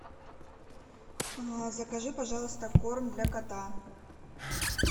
закажи пожалуйста корм для кота